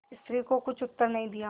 स्त्री को कुछ उत्तर नहीं दिया